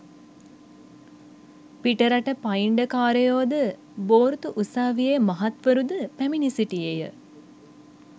පිටරට පයිංඩකාරයෝ ද, බෝර්තු උසාවියේ මහත්වරු ද පැමිණ සිටියේ ය.